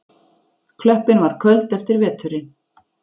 Klöppin var köld eftir veturinn.